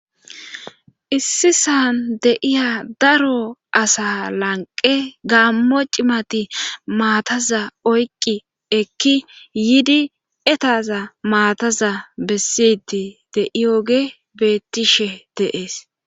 Issi san de7iya daro asaa lanqqe gaammo cimati maataza oyqqi ekki yiidi etaza maataza beessiiddi de7iyogey beettishe de7ees.